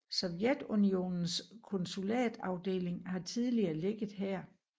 Sovjetunionens konsulatsafdeling har tidligere ligget her